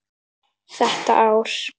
Þetta ár.